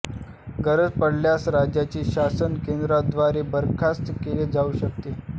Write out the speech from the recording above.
गरज पडल्यास राज्याचे शासन केंद्राद्वारे बरखास्त केले जाऊ शकते